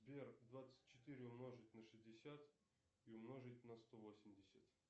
сбер двадцать четыре умножить на шестьдесят и умножить на сто восемьдесят